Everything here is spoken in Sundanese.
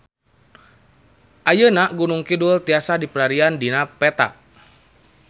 Ayeuna Gunung Kidul tiasa dipilarian dina peta